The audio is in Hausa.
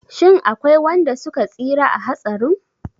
Shin akwai wanda suka tsira a hatsarin?